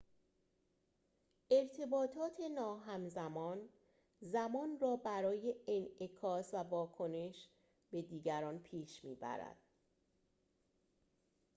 ارتباطات ناهمزمان زمان را برای انعکاس و واکنش به دیگران پیش می‌برد